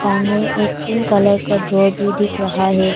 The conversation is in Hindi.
सामने एक पिंक कलर का ड्रॉ भी दिख रहा है।